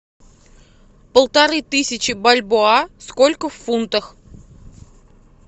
полторы тысячи бальбоа сколько в фунтах